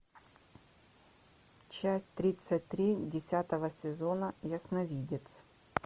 часть тридцать три десятого сезона ясновидец